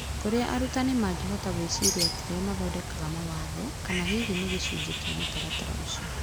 Kũrĩa arutani mangĩhota gwĩciria atĩ nĩo mathondekaga mawatho, kana hihi nĩ gĩcunjĩ kĩa mũtaratara ũcio.